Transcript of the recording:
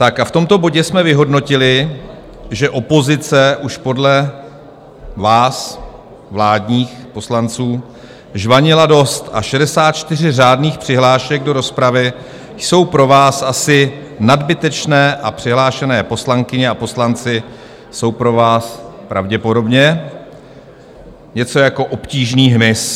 Tak a v tomto bodě jsme vyhodnotili, že opozice už podle vás, vládních poslanců, žvanila dost a 64 řádných přihlášek do rozpravy jsou pro vás asi nadbytečné a přihlášené poslankyně a poslanci jsou pro vás pravděpodobně něco jako obtížný hmyz.